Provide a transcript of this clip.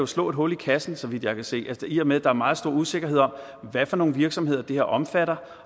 slå et hul i kassen så vidt jeg kan se i og med at der er meget stor usikkerhed om hvad for nogle virksomheder det her omfatter